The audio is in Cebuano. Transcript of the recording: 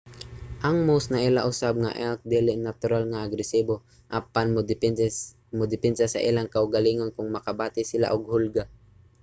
ang moose naila usab nga elk dili natural nga agresibo apan modepensa sa ilang kaugalingon kon makabati sila og hulga